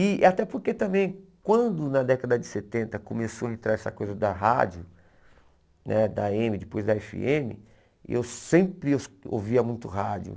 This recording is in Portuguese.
E até porque também, quando na década de setenta começou a entrar essa coisa da rádio, eh da a eme, depois da efe eme, eu sempre ouvia muito rádio.